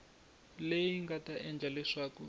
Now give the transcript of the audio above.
leyi nga ta endla leswaku